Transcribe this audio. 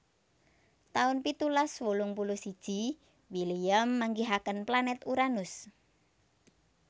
taun pitulas wolung puluh siji William manggihaken planèt Uranus